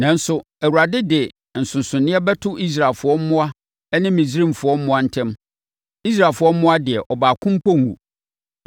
Nanso, Awurade de nsonsonoeɛ bɛto Israelfoɔ mmoa ne Misraimfoɔ mmoa ntam. Israelfoɔ mmoa deɛ, ɔbaako mpo renwu.